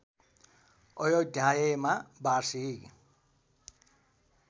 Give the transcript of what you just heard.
अयोध्यायमा वार्षिक